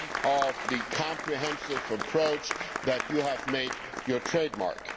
of the comprehensive approach that you have made your trademark.